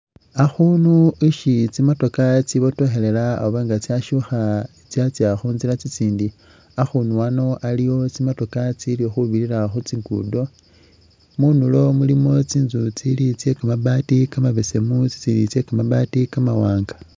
Akhunu ishi tsimotokha tsibotokhelela oba nga tsashukha tsyatsa khutsila tsitsindi akhunu ano aliwo tsimotoka itsilikhubilila khutsingundo mundulo mulimo tsinzu tsekamabati kali kamabesemu tsitsindi tsekamabati kamawanga